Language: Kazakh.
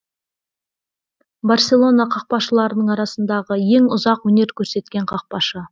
барселона қақпашыларының арасындағы ең ұзақ өнер көрсеткен қақпашы